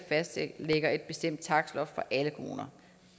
fastlægger et bestemt takstloft for alle kommuner